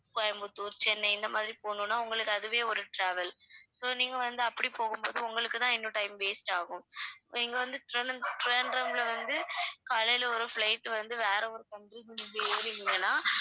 கோயம்புத்தூர், சென்னை இந்த மாதிரி போகணும்னா உங்களுக்கு அதுவே ஒரு travel so நீங்க வந்து அப்படிப் போகும்போது உங்களுக்கு தான் இன்னும் time waste ஆகும் இங்க வந்து திருவ~ திருவனந்தபுரம்ல வந்து காலையில ஒரு flight வந்து வேற ஒரு country க்கு நீங்க ஏறுனீங்கன்னா